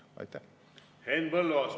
Henn Põlluaas, palun!